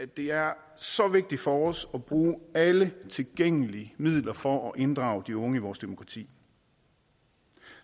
det er så vigtigt for os at bruge alle tilgængelige midler for at inddrage de unge i vores demokrati